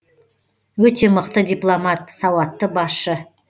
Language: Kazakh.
өте мықты дипломат сауатты басшы